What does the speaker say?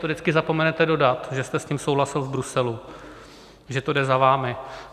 To vždycky zapomenete dodat, že jste s tím souhlasil v Bruselu, že to jde za vámi.